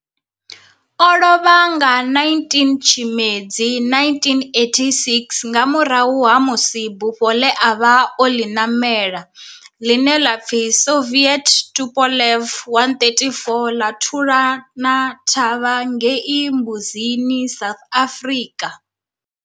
O lovha nga 19 Tshimedzi 1986 nga murahu ha musi bufho le a vha o li namela, line la pfi Soviet Tupolev 134 la thulana na thavha ngei Mbuzini, South Africa.